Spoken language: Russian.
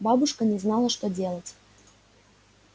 бабушка не знала что делать